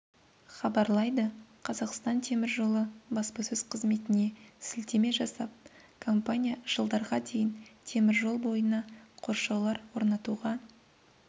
хабарлайды қазақстан темір жолы баспасөз қызметіне сілтеме жасап компания жылдарға дейін теміржол бойына қоршаулар орнатуға